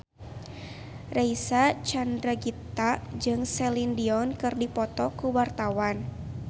Reysa Chandragitta jeung Celine Dion keur dipoto ku wartawan